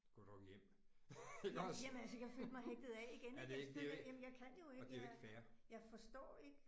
Gå dog hjem iggås. Ja det er ikke det er jo. Og det er jo ikke fair